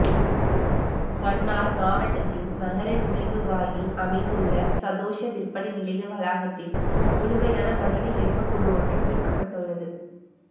மன்னார் மாவட்டத்தின் நகர நுழைவாயிலில் அமைந்துள்ள சதொச விற்பனை நிலைய வளாகத்தில் முழுமையான மனித எலும்புகூடு ஒன்று மீட்க்கப்பட்டுள்ளது